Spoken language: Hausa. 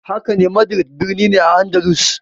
Hakane, Madrid birnin ne a Andalus.